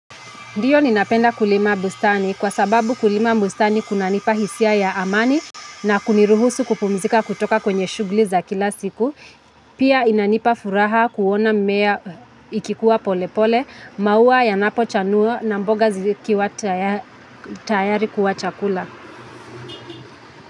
Ndiyo ninapenda kulima bustani kwa sababu kulima bustani kunanipa hisia ya amani na kuniruhusu kupumzika kutoka kwenye shughuli za kila siku. Pia inanipa furaha kuona mimea ikikuwa pole pole, maua yanapo chanua na mboga zikiwa tayari kuwa chakula.